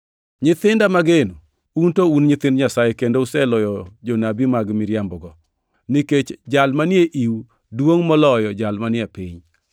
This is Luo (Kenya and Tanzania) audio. Nyithinda mageno, un to un nyithind Nyasaye kendo useloyo jonabi mag miriambogo, nikech Jal manie iu duongʼ moloyo Jal manie piny.